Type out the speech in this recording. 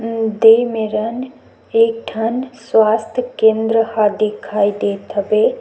दे मेरन एक ठन स्वस्थ केंद्र ह दिखाई देत हवे ।--